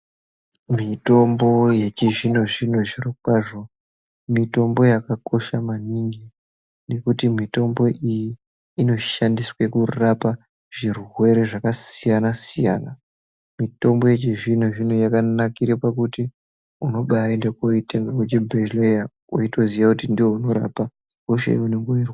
Mitombo yechizvino zvino zvirokwazvo mitombo yakakosha manhingi nekuti mitombo iyi inoshandiswe kurapa zvirwere zvakasiyana siyana. Mitombo yechizvino zvino yakanakire pakuti unobayende kunoitenga kuchibhedhlera uchitoziva ndoinorape hosha ngemwero.